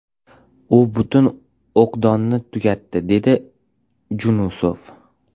U butun o‘qdonni tugatdi”, dedi Junusov.